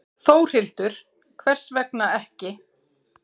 Þórhildur: Hvers vegna ekki?